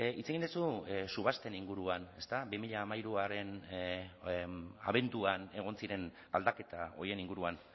hitz egin duzu subasten inguruan ezta bi mila hamairuaren abenduan egon ziren aldaketa horien inguruan